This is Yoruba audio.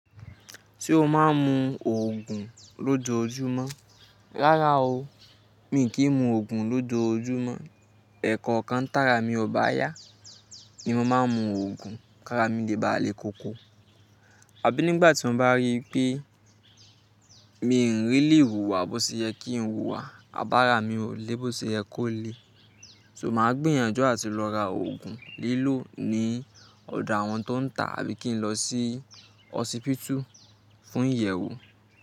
Se o máa ń mu òògùn lójoojúmọ́. Rárá o, mi kì í mu òògùn lójoojúmọ́. Ẹ̀kọ̀kan tàrà mi ò bá yá ni mo máa ń mu òògùn. Kára mi le báà lè koko. Àbí nígbà tí mo bá rí pé mi n really hùwà bó ṣe yẹ kí n hùwà, àbára mi ò lè bó ṣe yẹ kó le. So màá gbìyànjú àti lọ ra òògùn lílò ní ọ̀do àwọn tó ń tà àbí kí n lọ sí ọsípítù fún ìyẹ̀wo.